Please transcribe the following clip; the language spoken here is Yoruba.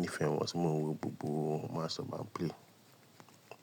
nífẹ́ wọn tí mo ń wo gbogbo match to ba n play.